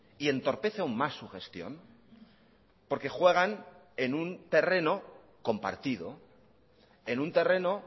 y entorpece aún más su gestión porque juegan en un terreno compartido en un terreno